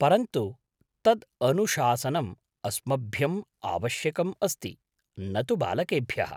परन्तु तद् अनुशासनम् अस्मभ्यम् आवश्यकम् अस्ति, न तु बालकेभ्यः।